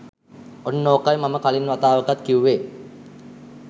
ඔන්න ඕකයි මම කලින් වතාවකත් කිව්වෙ